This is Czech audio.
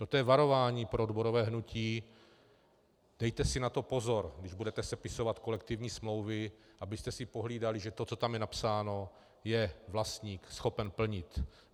Toto je varování pro odborové hnutí: dejte si na to pozor, když budete sepisovat kolektivní smlouvy, abyste si pohlídali, že to, co je tam napsáno, je vlastník schopen plnit.